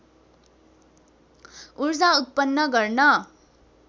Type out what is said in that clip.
उर्जा उत्पन्न गर्न